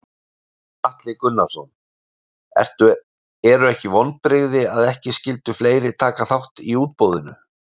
Gunnar Atli Gunnarsson: Eru ekki vonbrigði að ekki skyldu fleiri taka þátt í útboðinu?